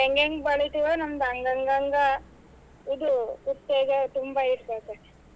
ನಾವ್ ಹೆಂಗೆಂಗ್ ಬೆಳಿತಿವೋ ನಮ್ಡು ಹಂಗ್ ಹಂಗ್ ಇದು ಉತ್ತೇಜ ತುಂಬಾ ಇರ್ತೇತೇ.